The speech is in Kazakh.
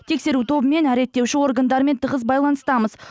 тексеру тобымен реттеуші органдармен тығыз байланыстамыз